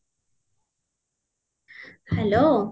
hello